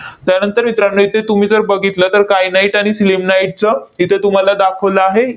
त्यानंतर मित्रांनो, इथे तुम्ही जर बघितलं, तर kyanite आणि sillimanite चं इथं तुम्हाला दाखवलं आहे,